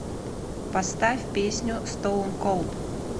поставь песню стоун колд